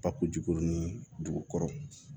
Bako jiko ni dugu kɔrɔ